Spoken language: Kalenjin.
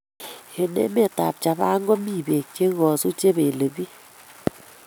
Eng emetab Japan komi beek chegosu chebelei biich